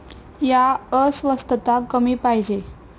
या अस्वस्थता कमी पाहिजे.